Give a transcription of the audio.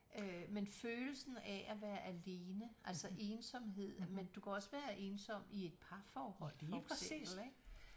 Øh men følelsen af at være alene altså ensomhed men du kan også være ensom i et parforhold for eksempel ik